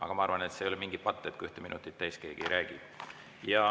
Aga ma arvan, et see ei ole mingi patt, kui keegi ühte minutit täis ei räägi.